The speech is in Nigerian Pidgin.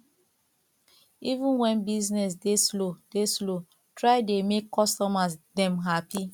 even wen business dey slow dey slow try dey make customer dem hapi